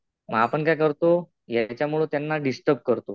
आपण काय करतो ह्याच्यामुळं त्यांना डिस्टर्ब् करतो.